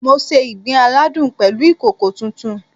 Mo se ìgbín aládùn pẹ̀lú ìkòkò tuntun